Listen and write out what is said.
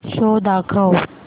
show दाखव